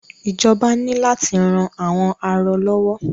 Ìjọba ní láti ran àwọn arọ lọ́wọ́.